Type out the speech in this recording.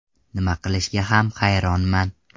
Nima qilishga ham hayronman.